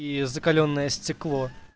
и закалённое стекло